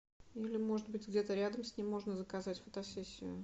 или может быть где то рядом с ним можно заказать фотосессию